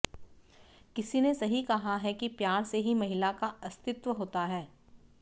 किसी ने सही कहा है कि प्यार से ही महिला का अस्तित्व होता है